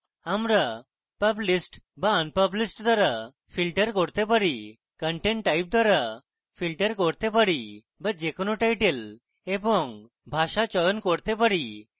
আমরা published বা unpublished দ্বারা filter করতে পারি content type দ্বারা filter করতে পারি বা যে কোনো title এবং ভাষা চয়ন করতে পারি